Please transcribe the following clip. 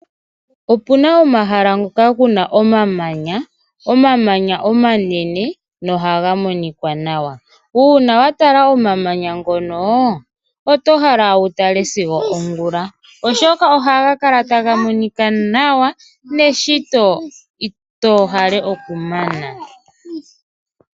Opuna omahala ngoka kuna omamanya, omamanya omanene nohaga monika nawa uuna wa tala omamanya ngono oto hala wutale sigo ongula, oshoka ohaga kala taga monika nawa neshito ito hala oku mana.